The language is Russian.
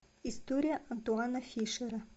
история антуана фишера